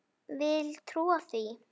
Vil trúa því.